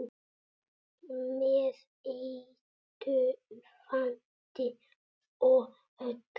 Með heitu vatni og öllu?